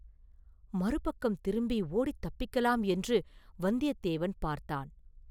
மறுபக்கம் திரும்பி ஓடித் தப்பிக்கலாம் என்று வந்தியத்தேவன் பார்த்தான்.